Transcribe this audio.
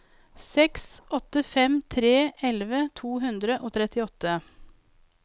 seks åtte fem tre elleve to hundre og trettiåtte